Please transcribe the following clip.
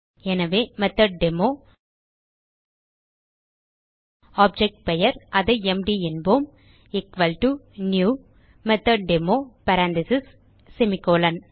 எனவே மெத்தொட்டேமோ ஆப்ஜெக்ட் பெயர் அதை எம்டி என்போம் new மெத்தொட்டேமோ பேரெந்தீசஸ் செமிகோலன்